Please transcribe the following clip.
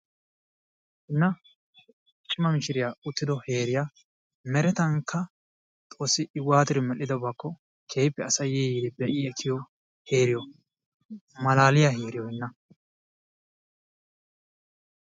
Hanna cima mishshiya uttiddo heeriyaa merettankka Xoossi I waattidi medhdhiddobaakko keehippe asay yi yiidi be'i ekkiyo heeriyo malaaliyaa heeriyo hinna.